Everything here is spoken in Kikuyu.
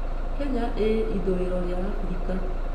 Kenya ĩĩ ithũĩro rĩa Abirika.